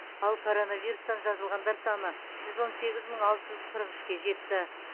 ал коронавирустан жазылғандар саны жүз он сегіз мың алты жүз қырық үшке жетті